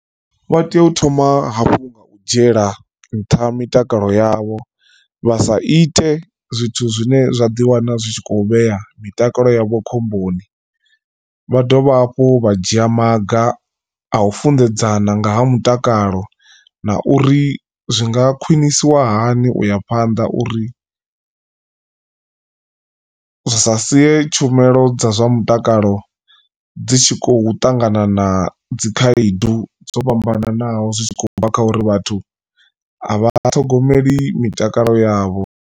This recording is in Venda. Vha tea u thoma hafhu nga u dzhiela nṱha mitakalo yavho vha sa ite zwithu zwine zwa ḓiwana zwi tshi kho vhea mitakalo yavho khomboni. Vha dovha hafhu vha dzhia maga a u funḓedzana nga ha mutakalo na uri zwi nga khwinisiwa hani uya phanḓa uri, zwi sa sie tshumelo dza zwa mutakalo dzi tshi khou ṱangana na dzikhaedu dzo fhambananaho zwi tshi khou bva kha uri vhathu a vha ṱhogomeli mitakalo yavho.